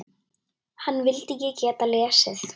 Hana vildi ég geta lesið.